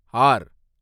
R